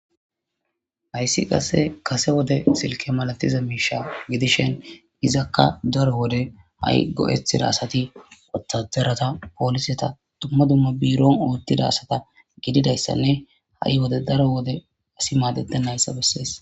hayssi qase kase wode silke malatiza miisha gidishen gizakka dare wode ha'i go'etida asati ottaderata pooliseta dumma dumma biiron oottida asata gididayssanne ha'i wode daro wode asi maadetennayssa bessees